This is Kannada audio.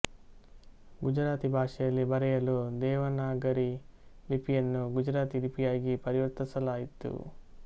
ಗುಜರಾತಿ ಭಾಷೆಯಲ್ಲಿ ಬರೆಯಲು ದೇವನಾಗರಿ ಲಿಪಿಯನ್ನು ಗುಜರಾತಿ ಲಿಪಿಯಾಗಿ ಪರಿವರ್ತಿಸಲಾಯಿತು